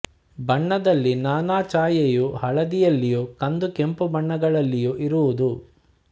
ಬಣ್ಣದಲ್ಲಿ ನಾನಾ ಛಾಯೆಯ ಹಳದಿಯಲ್ಲಿಯೂ ಕಂದು ಕೆಂಪು ಬಣ್ಣಗಳಲ್ಲಿಯೂ ಇರುವುದು